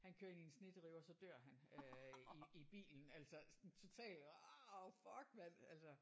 Han kører ind i en snedrive og så dør han øh i i bilen altså sådan total ah fuck mand altså